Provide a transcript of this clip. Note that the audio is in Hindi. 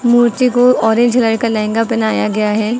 मूर्ति को ऑरेंज कलर का लहंगा पहनाया गया है।